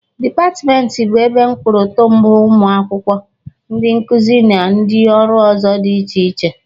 Dịpatmentị bụ ebe mkpụtụrụ mbụ ụmụ akwụkwọ, ndị nkụzi na ndị ọrụ ọzọ dị iche iche.